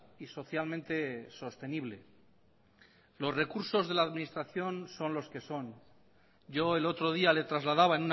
y socialmente sostenible los recursos de la administración son los que son yo el otro día le trasladaba